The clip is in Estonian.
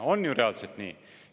See on ju reaalselt nii!